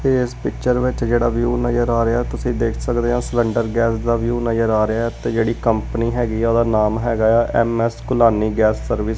ਏਸ ਪਿੱਚਰ ਵਿੱਚ ਜਿਹੜਾ ਵਿਊ ਨਜ਼ਰ ਆ ਰਿਹਾ ਐ ਤੁਸੀ ਦੇਖ ਸਕਦੇ ਆਂ ਸਿਲੈਂਡਰ ਗੈਸ ਦਾ ਵਿਊ ਨਜ਼ਰ ਆ ਰਿਹੈ ਤੇ ਜਿਹੜੀ ਕੰਪਨੀ ਹੈਗੀ ਆ ਉਹਦਾ ਨਾਮ ਹੈਗਾ ਯਾ ਐਮ_ਐਸ ਘੋਲਾਨੀ ਗੈਸ ਸਰਵਿਸ ।